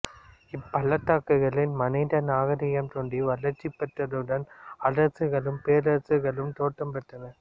இப்பள்ளத் தாக்குகளில் மனித நாகரீகம் தோன்றி வளர்ச்சிப் பெற்றதுடன் அரசுகளும் பேரரசுகளும் தோற்றம் பெற்றன